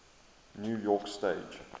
new york stage